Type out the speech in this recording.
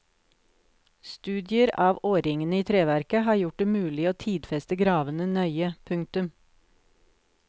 Studier av årringene i treverket har gjort det mulig å tidfeste gravene nøye. punktum